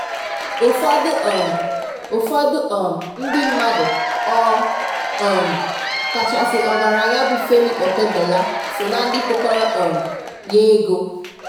Ụfọdụ um Ụfọdụ um ndị mmadụ ọ um kachasị ọgaranya bụ Femi Otedola so na ndị tụkọrọ um ya ego